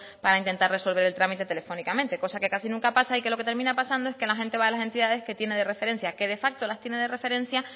para intentar resolver el trámite telefónicamente cosa que casi nunca pasa y que lo que termina pasando es que la gente va a las entidades que tiene de referencia que de facto las tiene de referencia